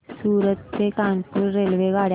सूरत ते कानपुर रेल्वेगाड्या